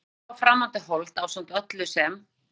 Þetta mikla og framandi hold ásamt öllu sem